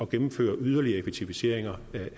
gennemføre yderligere effektiviseringer